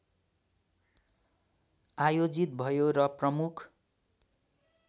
आयोजित भयो र प्रमुख